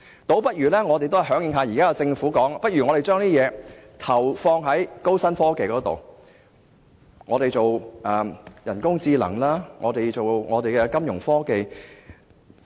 倒不如響應政府現時所說，把資源投放在高新科技上，發展人工智能、金融科技等。